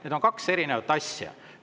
Need on kaks erinevat asja.